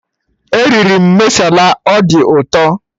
Eriri m masala, ọ dị ụtọ